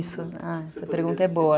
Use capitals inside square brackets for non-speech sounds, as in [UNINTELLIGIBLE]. [UNINTELLIGIBLE] sua pergunta é boa.